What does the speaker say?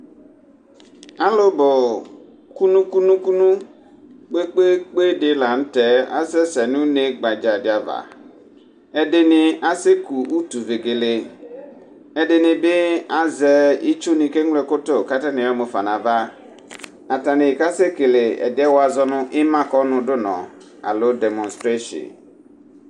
alò bò kunu kunu kunu kpe kpe kpe di lantɛ asɛ sɛ no une gbadza di ava ɛdini asɛ ku utu vegele ɛdini bi azɛ itsu ni k'eŋlo ɛkò to k'atani ayɔ mufa n'ava atani ka sɛ kele ɛdiɛ wa zɔ no ima kɔnu du nɔ alo dɛmɔnstreshin.